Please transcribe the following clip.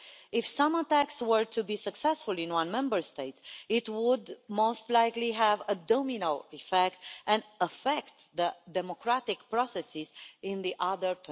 If some attacks were to be successful in one Member State, it would most likely have a domino effect and affect the democratic processes in the other